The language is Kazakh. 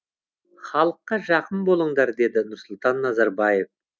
халыққа жақын болыңдар деді нұрсұлтан назарбаев